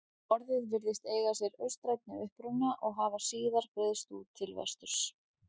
Orðið virðist eiga sér austrænni uppruna og hafa síðar breiðst út til vesturs.